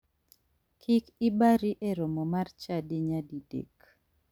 Kik ibari e romo mar chadi nyadi dek.